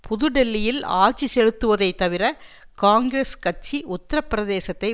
புது டெல்லியில் ஆட்சி செலுத்துவதை தவிர காங்கிரஸ் கட்சி உத்திர பிரதேசத்தை